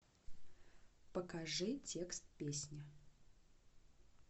покажи текст песни